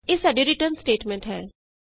ਇਹ ਸਾਡੀ return statement ਹੈ